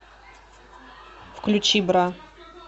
включи бра